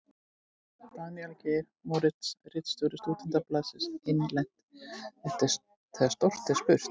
Daníel Geir Moritz, ritstjóri Stúdentablaðsins: Innlent: Þegar stórt er spurt.